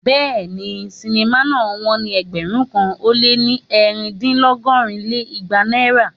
Béèni, sinimá náà wón ní ẹgbẹ̀rún kan ó lé ẹ̀rin dín lọgọ́rin lé igba náírà.